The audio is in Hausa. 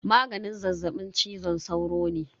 Maganin zazzaɓin cizon sauro ne.